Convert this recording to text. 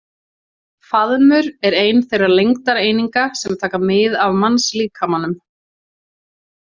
Faðmur er ein þeirra lengdareininga sem taka mið af mannslíkamanum.